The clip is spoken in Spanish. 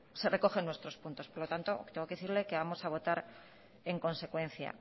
se recogen nuestros puntos por lo tanto tengo que decirle que vamos a votar en consecuencia